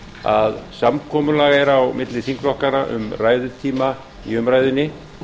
að samkomulag er á milli þingflokkanna um ræðutíma í umræðunni